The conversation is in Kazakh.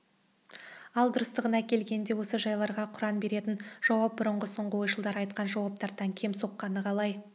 ал дұрыстығына келгенде осы жайларға құран беретін жауап бұрынғы-соңғы ойшылдар айтқан жауаптардан кем соққаны қалай